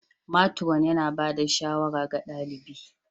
matron yana ba da shawara ga ɗalibi